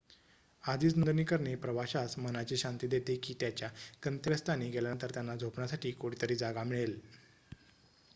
आधीच नोंदणी करणे प्रवाशास मनाची शांती देते की त्यांच्या गंतव्य स्थानी गेल्यानंतर त्यांना झोपण्यासाठी कुठेतरी जागा मिळेल